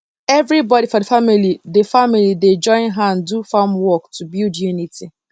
everybody for the family dey family dey join hand do farm work to build unity